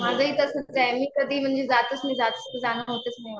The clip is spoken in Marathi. माझंही तसंच आहे मी कधी जातच नाही जाणं होतच नाही.